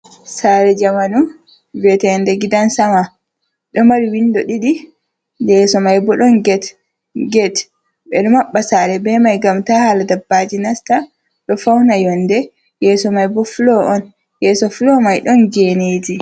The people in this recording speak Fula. sare jamanu, viete ndecgidan sama, do mari windo didi, yeso mai bodon get, get bedo mabba sare be mai gam ta hala dabbaji nasta. do fauna yonde. yeso mai bo fulo on.yeso fulo mai don geneji.